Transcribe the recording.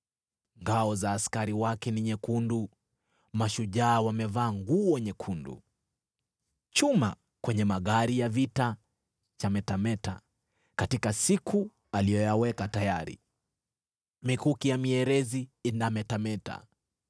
Ngao za askari wake ni nyekundu, mashujaa wamevaa nguo nyekundu. Chuma kwenye magari ya vita chametameta, katika siku aliyoyaweka tayari, mikuki ya mierezi inametameta.